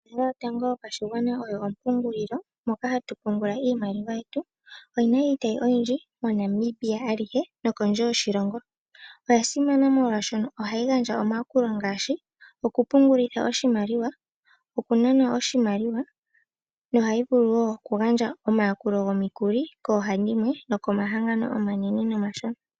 Ombaanga yotango yopashigwana oyo ompungililo Moka ha tu pungula iimaliwa yetu . Oyi na iitayi oyindji moNamibia alihe nokondje yoshilongo. Oyasimana molwaashoka ohayi gandja omayakulo ngaashi, okupungulitha oshimaliwa, oku nana oshimaliwa, no ha yi vulu woo okugandja omayakulo gomikuli koohandimwe no komahangano omanene nomashona.